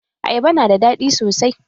Ayaba na da daɗi sosai.